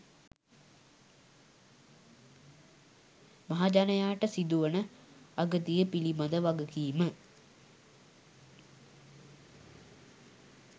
මහජනයාට සිදුවන අගතිය පිළිබද වගකීම